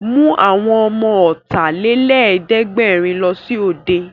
Mú àwọn ọmọ Ọ̀tàlélẹ̀ẹ́dẹ́gbẹ̀rin lọ sí òde!